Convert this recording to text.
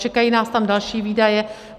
Čekají nás tam další výdaje.